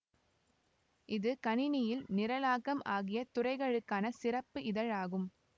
இது கணினியியல் நிரலாக்கம் ஆகிய துறைகளுக்கான சிறப்பு இதழ் ஆகும்